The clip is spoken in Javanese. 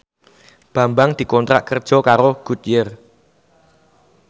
Bambang dikontrak kerja karo Goodyear